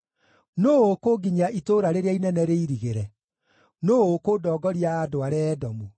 Nũũ ũkũnginyia itũũra rĩrĩa inene rĩirigĩre? Nũũ ũkũndongoria andware Edomu?